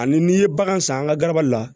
Ani n'i ye bagan san an ka gaba la